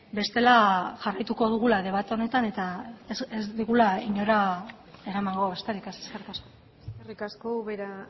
bestela jarraituko dugula debate honetan eta ez digula inora eramango besterik ez eskerrik asko eskerrik asko ubera